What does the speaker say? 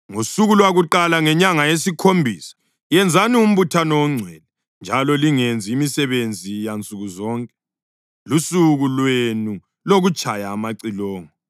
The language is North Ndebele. “ ‘Ngosuku lwakuqala ngenyanga yesikhombisa yenzani umbuthano ongcwele njalo lingenzi imisebenzi yansuku zonke. Lusuku lwenu lokutshaya amacilongo.